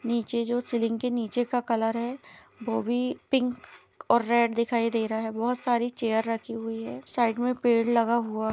नीचे जो सीलिंग के नीचे का कलर है वो भी पिंक और रेड दिखाई दे रहा है बहुत सारी चेयर रखी हुई है साइड में पेड़ लगा हुआ--